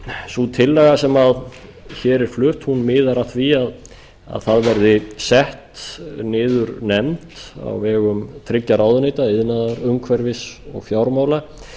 sú tillaga sem hér er flutt miðar að því að sett verði niður nefnd á vegum þriggja ráðuneyta iðnaðar umhverfis og fjármála